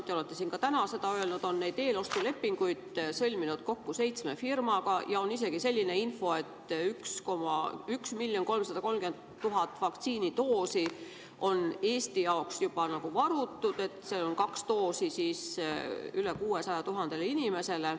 Te olete siin ka täna öelnud, et Euroopa Komisjon on neid eelostulepinguid sõlminud kokku seitsme firmaga ja on isegi selline info, et Eesti jaoks on varutud 1 330 000 vaktsiinidoosi, st kaks doosi üle 600 000 inimesele.